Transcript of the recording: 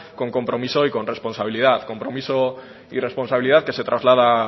con compromiso y con responsabilidad compromiso y responsabilidad que se traslada